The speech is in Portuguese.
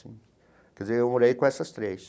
Quer dizer, eu morei com essas três.